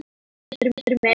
Takk, Pétur minn.